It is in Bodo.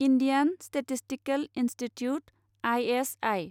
Indian statistical institute I S I